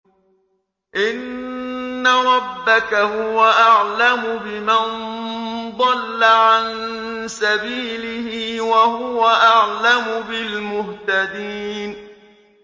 إِنَّ رَبَّكَ هُوَ أَعْلَمُ بِمَن ضَلَّ عَن سَبِيلِهِ وَهُوَ أَعْلَمُ بِالْمُهْتَدِينَ